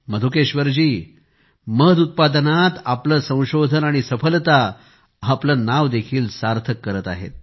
मधुकेश्वरजी मध उत्पादनात आपले संशोधन आणि सफलता आपले नाव देखील सार्थक करत आहेत